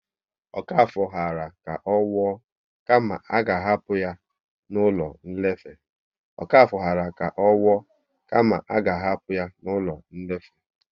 Okafor ghara ka ọ nwụọ kama a ga hapụ ya n'ụlọ nlefe